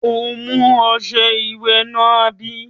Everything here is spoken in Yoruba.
O mú ọṣẹ ìwẹ̀ náà, àbí?